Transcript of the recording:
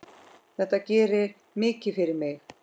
Þetta gerir mikið fyrir mig.